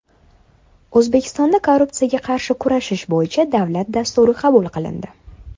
O‘zbekistonda Korrupsiyaga qarshi kurashish bo‘yicha davlat dasturi qabul qilindi.